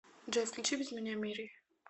джой включи без меня мири